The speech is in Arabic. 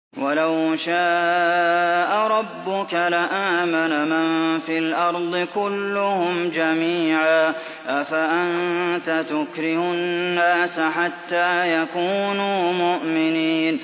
وَلَوْ شَاءَ رَبُّكَ لَآمَنَ مَن فِي الْأَرْضِ كُلُّهُمْ جَمِيعًا ۚ أَفَأَنتَ تُكْرِهُ النَّاسَ حَتَّىٰ يَكُونُوا مُؤْمِنِينَ